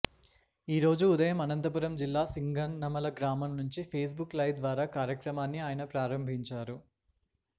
ఈరోజు ఉదయం అనంతపురం జిల్లా సింగనమల గ్రామం నుంచి ఫేస్ బుక్ లైవ్ ద్వారా కార్యక్రమాన్ని ఆయన ప్రారంభించారు